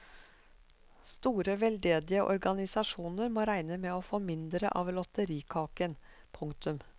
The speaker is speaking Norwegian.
Store veldedige organisasjoner må regne med å få mindre av lotterikaken. punktum